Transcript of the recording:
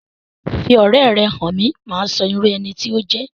Fi ọ̀rẹ́ ẹ hàn mí, màá sọ irú ẹni tí o jẹ